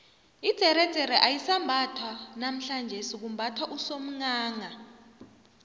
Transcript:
idzeredzere ayisambathwa namhlanjesi kumbathwa usomghangha